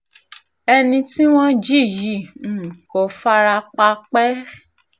ẹni tí wọ́n jí yìí um kò fara pa pẹ́ẹ́